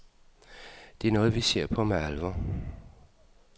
Det er noget, vi ser på med alvor.